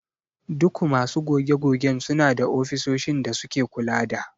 Duku masu goge-gogen suna da ofisoshin da suke kula da.